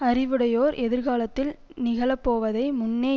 அறிவுடையோர் எதிர்காலத்தில் நிகழப்போவதை முன்னே